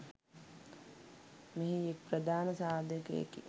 මෙහි එක් ප්‍රධාන සාධකයකි.